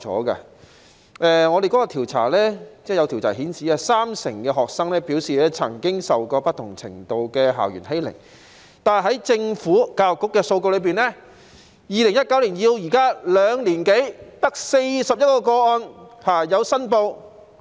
有調查顯示，三成學生表示曾經受過不同程度的校園欺凌，但在政府教育局的數據中，從2019年至今兩年多卻只有41宗申報個案。